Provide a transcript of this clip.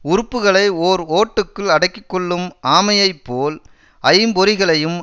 உறுப்புகளை ஓர் ஓட்டுக்குள் அடக்கி கொள்ளும் ஆமையை போல் ஐம்பொறிகளையும்